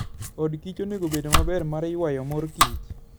Od kich onego obed maber mar yuayo mor kich.